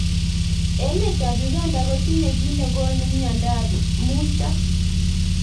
Emet ab Uganda kotinye ki nekonu mnyendo ab muito.